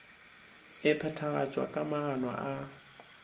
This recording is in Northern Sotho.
e phethagatšwa ka maano a